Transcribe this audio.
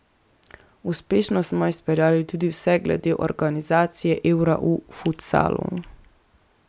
Uspešno smo izpeljali tudi vse glede organizacije eura v futsalu.